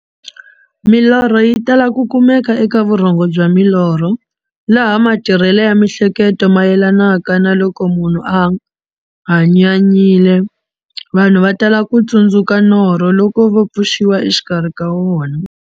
Milorho yi tala ku kumeka eka vurhongo bya milorho, laha matirhele ya mihleketo mayelanaka na loko munhu a hanyanyile. Vanhu va tala ku tsundzuka norho loko va pfuxiwa exikarhi ka wona.